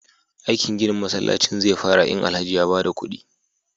aikin ginin masallacin zefara in Alhaji ya bada kudi